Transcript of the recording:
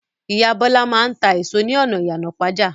Ìyá Bọ́lá máa ń ta èso ní ọjà Ìyànàpájà.